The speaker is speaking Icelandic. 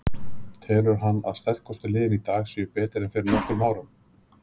Telur hann að sterkustu liðin í dag séu betri en fyrir nokkrum árum?